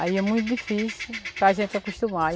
Aí é muito difícil para gente se acostumar.